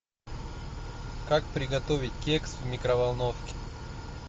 как приготовить кекс в микроволновке